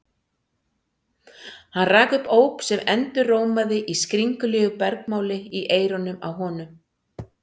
Hann rak upp óp sem endurómaði í skringilegu bergmáli í eyrunum á honum.